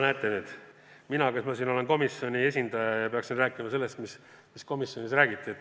Näete nüüd, mina olen siin komisjoni esindaja ja peaksin rääkima sellest, mida komisjonis räägiti.